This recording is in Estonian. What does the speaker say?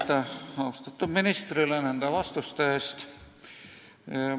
Aitäh austatud ministrile nende vastuste eest!